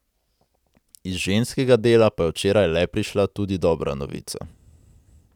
Iz ženskega dela pa je včeraj le prišla tudi dobra novica.